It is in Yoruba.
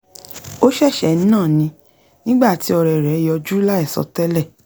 ó ṣẹ̀ṣẹ̀ ń nà ni nígbà tí ọ̀rẹ rẹ̀ yọjú láìsọtẹ́lẹ̀